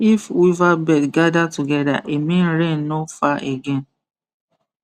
if weaver bird gather together e mean rain no far again